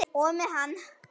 Og með hann.